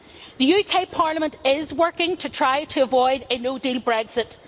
The UK Parliament is working to try to avoid a no-deal Brexit.